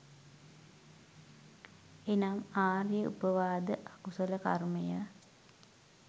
එනම් ආර්ය උපවාද අකුසල කර්මය